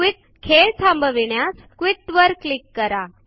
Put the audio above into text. quit - खेळ थांबविण्यास quit वर क्लीक करा